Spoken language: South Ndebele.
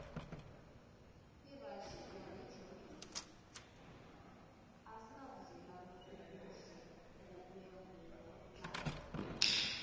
irassia negermany azinabudlelwano obuhle ngokuya ngokumlando